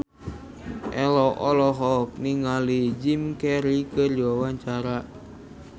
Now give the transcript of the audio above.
Ello olohok ningali Jim Carey keur diwawancara